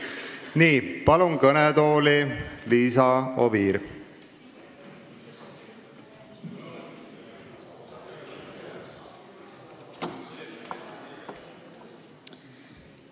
Nii, palun kõnetooli Liisa Oviiri!